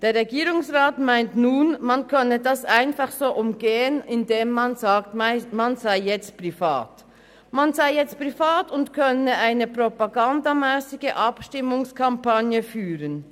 Der Regierungsrat meint nun, man könne dies einfach so umgehen, indem man sagt, man sei jetzt als Privatperson aktiv und könne nun eine propagandamässige Abstimmungskampagne führen.